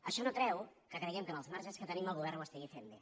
això no treu que creiem que amb els marges que tenim el govern ho estigui fent bé